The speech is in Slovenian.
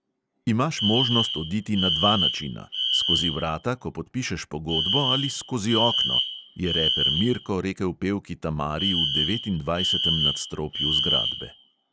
"Imaš možnost oditi na dva načina: skozi vrata, ko podpišeš pogodbo, ali skozi okno, " je reper mirko rekel pevki tamari v devetindvajsetem nadstropju zgradbe.